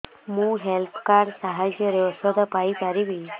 ମୁଁ health card ସାହାଯ୍ୟରେ ଔଷଧ ପାଇ ପାରିବି